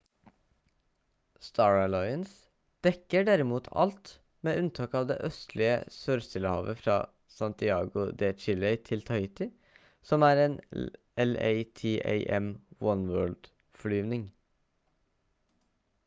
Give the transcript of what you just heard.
star alliance dekker derimot alt med unntak av det østlige sør-stillehavet fra santiago de chile til tahiti som er en latam oneworld-flyvning